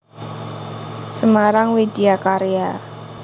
Semarang Widya Karya